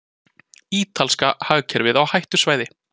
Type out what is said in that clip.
Ítalska hagkerfið á hættusvæði